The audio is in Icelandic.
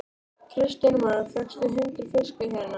Kristján Már: Fékkstu hundrað fiska hérna?